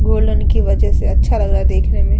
Golden की वजह से अच्छा लग रहा है देखने में।